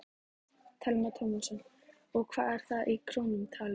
Telma Tómasson: Og hvað er það í krónum talið?